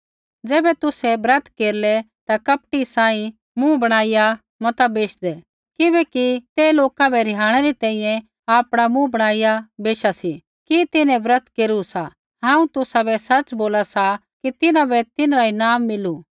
ज़ैबै तुसै ब्रत केरलै ता कपटी सांही मुँह बणाईया मता बैशदै किबैकि ते लोका बै रिहाणै री तैंईंयैं आपणा मुँह बणाईया बैशा सी कि तिन्हैं ब्रत केरू सा हांऊँ तुसाबै सच़ बोला सा कि तिन्हां बै तिन्हरा ईनाम मिलू